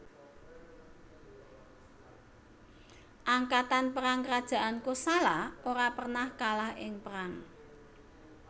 Angkatan perang kerajaan Kosala ora pernah kalah ing perang